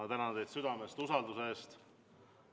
Ma tänan teid südamest usalduse eest.